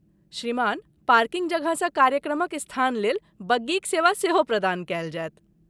श्रीमान, पार्किंग जगहसँ कार्यक्रमक स्थान लेल बग्गीक सेवा सेहो प्रदान कयल जायत।